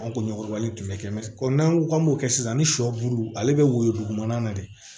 An ko ɲɔgɔlen tun bɛ kɛ n'an ko k'an b'o kɛ sisan ni sɔ bulu ale bɛ woyo dugumana na de